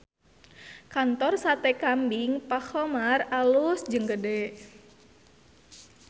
Kantor Sate Kambing Pak Khomar alus jeung gede